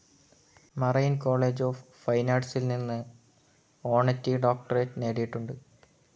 Marin college of fine ആർട്‌സിൽ നിന്ന് honorary doctorate നേടിയിട്ടുണ്ട്.